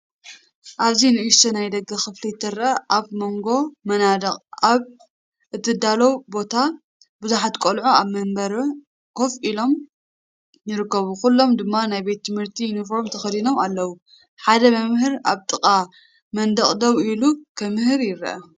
ኣብዚ ንእሽቶ ናይ ደገ ክፍሊ ትረአ። ኣብ መንጎ መናድቕ ኣብ እተዳለወ ቦታ፡ብዙሓት ቈልዑ ኣብ መንበሩ ኮፍ ኢሎም ይርከቡ፣ ኩሎም ድማ ናይ ቤት ትምህርቲ ዩኒፎርም ተኸዲኖም ኣለዉ። ሓደ መምህር ኣብ ጥቓ መንደቕ ደው ኢሉ ክምህር ይረአ።